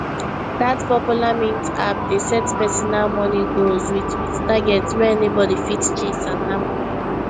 that popular mint app dey set personal money goals with with targets wey anybody fit chase and hammer